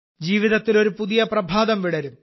ജീവിതത്തിൽ ഒരു പുതിയ പ്രഭാതം വിടരും